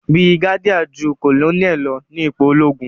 brigadier jù Colonel ló ní ipò ologun.